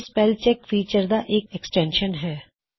ਇਹ spell check feature ਦਾ ਇੱਕ ਐਕ੍ਸਟੈਨਸ਼ਨ ਹੈ